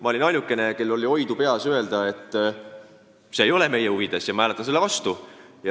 Ma olin ainukene, kel oli peas oidu öelda, et see ei ole meie huvides ja ma hääletan selle vastu.